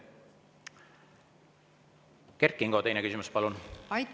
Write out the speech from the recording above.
Kert Kingo, teine küsimus, palun!